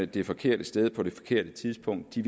det forkerte sted på det forkerte tidspunkt vil